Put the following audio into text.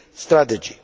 strategy